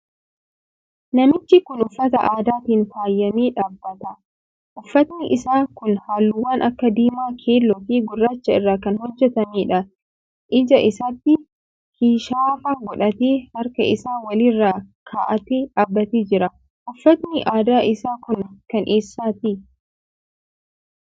Namichi kun uffata aadaatiin faayamee dhaabbata. Uffatni isaa kun halluuwwan akka diimaa, keelloofi gurraacha irraa kan hojjetameedha. Ija isaatti kishaafa godhatee, harka isaa wal irra kaa'atee dhaabbatee jira. Uffatni aadaa isaa kun kan eessaati?